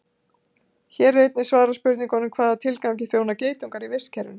Hér er einnig svarað spurningunum: Hvaða tilgangi þjóna geitungar í vistkerfinu?